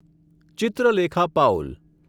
Chitralekha Paul